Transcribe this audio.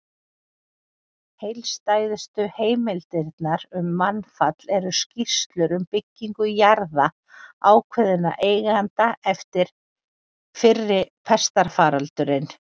Heildstæðustu heimildirnar um mannfall eru skýrslur um byggingu jarða ákveðinna eigenda eftir fyrri pestarfaraldurinn.